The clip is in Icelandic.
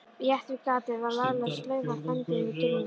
Rétt við gatið var lagleg slaufa bundin við girðinguna.